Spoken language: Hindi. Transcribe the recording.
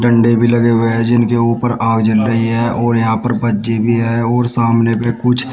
डंडे भी लगे हुए हैं जिनके ऊपर आग जल रही है और यहां पर बच्चे भी हैं और सामने पे कुछ--